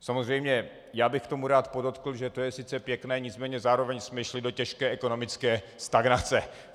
Samozřejmě já bych k tomu rád podotkl, že to je sice pěkné, nicméně zároveň jsme šli do těžké ekonomické stagnace.